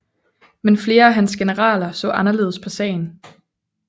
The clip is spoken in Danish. Men flere af hans generaler så anderledes på sagen